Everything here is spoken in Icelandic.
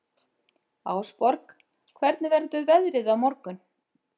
Ásborg, hvernig verður veðrið á morgun?